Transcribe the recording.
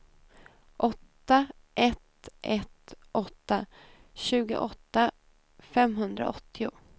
åtta ett ett åtta tjugoåtta femhundraåttio